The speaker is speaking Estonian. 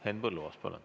Henn Põlluaas, palun!